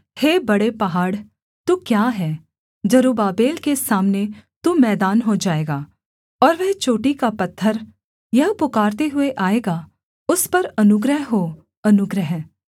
हे बड़े पहाड़ तू क्या है जरुब्बाबेल के सामने तू मैदान हो जाएगा और वह चोटी का पत्थर यह पुकारते हुए आएगा उस पर अनुग्रह हो अनुग्रह